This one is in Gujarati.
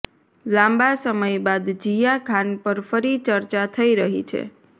લાંબા સમય બાદ જિયા ખાન પર ફરી ચર્ચા થઇ રહી છે